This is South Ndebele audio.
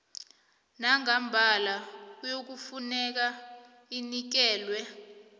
nangambala kuyafuneka inikelwe